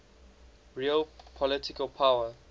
real political power